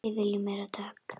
Við viljum meiri dögg!